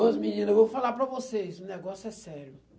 Ô menina, eu vou falar para vocês, o negócio é sério.